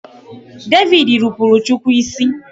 David rupuru chukwu isi.